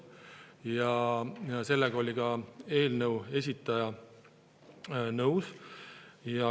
Sellega oli ka eelnõu esitaja nõus.